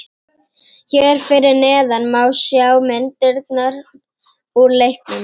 Hér fyrir neðan má sjá myndirnar úr leiknum.